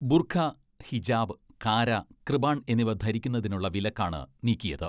ബുർഖാ, ഹിജാബ്, കാരാ, കൃപാൺ എന്നിവ ധരിക്കുന്നതിനുള്ള വിലക്കാണ് നീക്കിയത്.